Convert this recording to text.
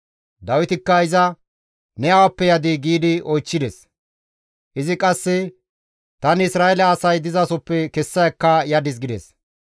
Dawitikka iza, «Ne awappe yadii?» giidi oychchides. Izi qasse, «Tani Isra7eele asay dizasoppe kessa ekka yadis» gides.